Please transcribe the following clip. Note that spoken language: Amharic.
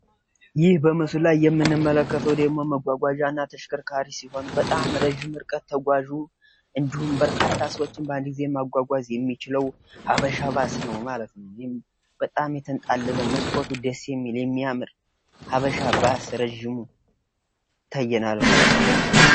ይህ በምስሉ ላይ የምንመለከተው ደግሞ መጓጓዣ እና ተሽከርካሪ ሲሆን በጣም ረጅሙ የተንጣለለው እጅግ የሚያምረው የሀበሻ ባስ ነው።